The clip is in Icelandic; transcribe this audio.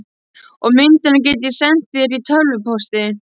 Og myndina get ég sent þér í tölvupósti.